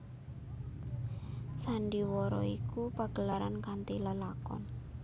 Sandhiwara iku pagelaran kanthi lelakon